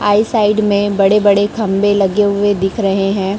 आई side में बड़े बड़े खंभे लगे हुए दिख रहे हैं।